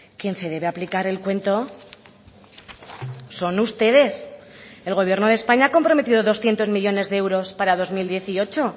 quien se debe aplicar el cuento son ustedes el gobierno de españa ha comprometido doscientos millónes de euros para dos mil dieciocho